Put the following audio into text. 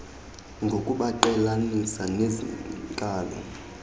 ngokubaqhelanisa nezi nkalo